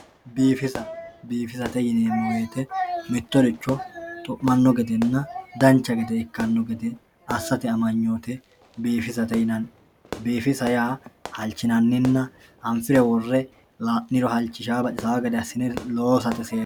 Biifissa, biifisate yi'neemo woyite mitoricho xu'umano gedenna dancha gede ikkano gede asate amanyoote biifisate yinanni, biifisa yaa halichinanninna anfire wore layiniro halichinayi baxisawo gede asine loosate seekine